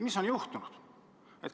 Mis on juhtunud?